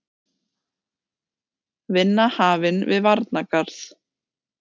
Vinna hafin við varnargarð